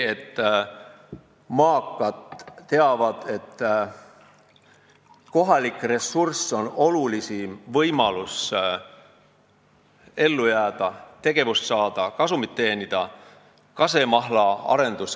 Maakad teavad, et kohalik ressurss on olulisim võimalus ellujäämiseks, tegutsemiseks ja kasumi teenimiseks.